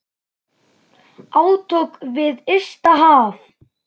Átök við ysta haf.